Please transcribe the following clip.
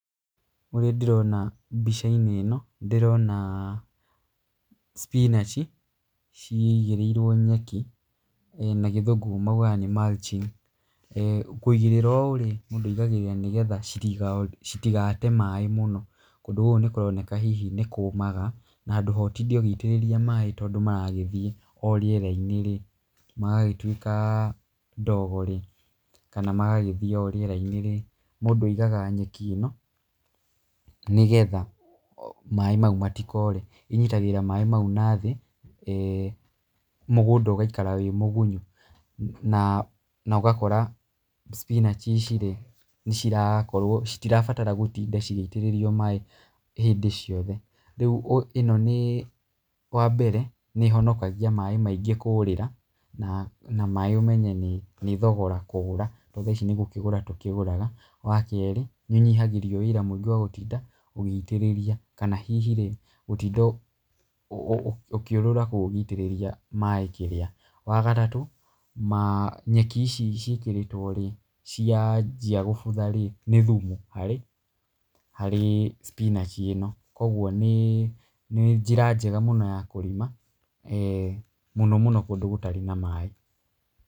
Ũrĩa ndĩrona mbica-inĩ ĩno ndĩrona spinach ciigĩrĩirwo nyeki, na gĩthũngũ moigaga nĩ mulching. Kũigĩrĩra ũũ rĩ, mũndũ aigagĩrĩra nĩgetha citigate maaĩ mũno. Kũndũ gũkũ nĩ kũroneka hihi nĩ kũũmaga na handũ ha ũtinde ũgĩitĩrĩria maaĩ tondũ maragĩthiĩ o rĩera-inĩ rĩ, magagĩtuĩka ndogo rĩ, kana magagĩthiĩ or rĩera-inĩ rĩ, mũndũ aigaga nyeki ĩno nĩgetha maaĩ mau matikore. ĩnyitagĩrĩra maaĩ mau na thĩ mũgũnda ũgaikara wĩ mũgunyu. Na ũgakora spinach ici rĩ, nĩcirakorwo citirabatara gũtinda cigĩitĩrĩrio maaĩ hĩndĩ ciothe. Rĩu ĩno nĩ wambere nĩ ĩhonokagia maaĩ maingĩ kũũrĩra na maaĩ ũmenye maaĩ nĩ thogora kũgũra, tondũ tha ici nĩ gũkĩgũra tũkĩgũraga. Wa kerĩ nĩ ũnyihagĩrio wĩra mũingĩ wa gũtinda ũgĩitĩrĩria, kana hihi rĩ gũtinda ũkĩũrũra kũu ũgĩitirĩria maaĩ kĩrĩa. Wa gatatũ, nyeki ici ciĩkĩrĩtwo rĩ cianjia gũbutha rĩ, nĩ thumu harĩ spinach ĩno. Kwoguo nĩ njĩra njega mũno ya kũrĩma mũno mũno kũndũ gũtarĩ na maaĩ.